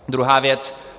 Druhá věc.